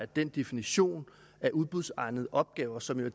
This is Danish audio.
den definition af udbudsegnede opgaver som jo